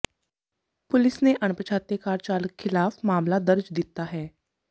police ਨੇ ਅਣਪਛਾਤੇ car ਚਾਲਕ ਖਿਲਾਫ਼ ਮਾਮਲਾ ਦਰਜ ਦਿੱਤਾ ਹੈ